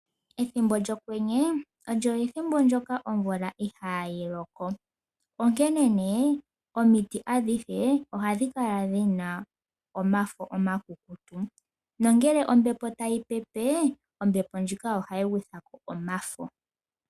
Ethimbo lyokwenye olyo ethimbo ndyoka omvula ihaayi loko, onkene omiti adhihe ohadhi kala dhina omafo omakukutu. Nongele ombepo tayi pepe, ombepo ndjika ohayi gwitha ko omafo.